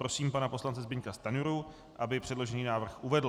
Prosím pana poslance Zbyňka Stanjuru, aby předložený návrh uvedl.